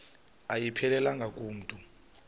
ayiphelelanga ku mntu